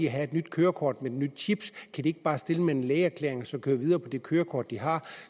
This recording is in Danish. have et nyt kørekort med den nye chip kan de ikke bare stille med en lægeerklæring og så køre videre med det kørekort de har